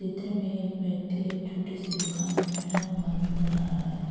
चित्र में एक व्यक्ति एक छोटी सी दुकान में बेेठा हुआ नज़र आ रहा है।